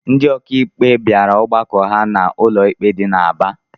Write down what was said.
Ndị ọkàikpe bịara ọgbakọ ha n'ụlọikpe dị n'Aba